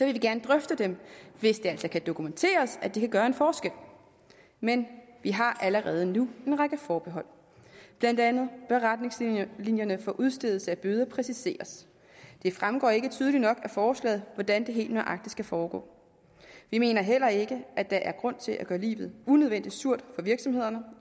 vi gerne drøfte dem hvis det altså kan dokumenteres at de kan gøre en forskel men vi har allerede nu en række forbehold blandt andet bør retningslinjerne for udstedelse af bøder præciseres det fremgår ikke tydeligt nok af forslaget hvordan det helt nøjagtigt skal foregå vi mener heller ikke der er grund til at gøre livet unødvendig surt for virksomhederne